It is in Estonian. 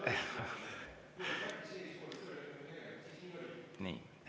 Nii.